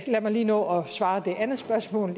lige nå at besvare det andet spørgsmål